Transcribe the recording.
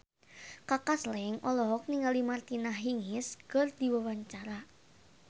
Kaka Slank olohok ningali Martina Hingis keur diwawancara